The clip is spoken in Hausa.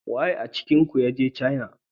Waye a cikin ki ne daga cainis?